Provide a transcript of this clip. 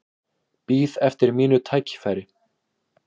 Bíð eftir mínu tækifæri